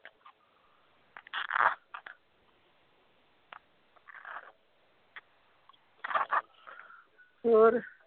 ਹੋਰ